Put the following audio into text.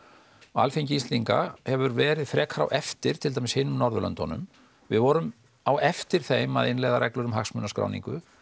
og Alþingi Íslendinga hefur verið frekar á eftir til dæmis hinum Norðurlöndunum við vorum á eftir þeim að innleiða reglur um hagsmunaskráningu